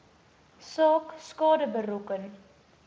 saak skade berokken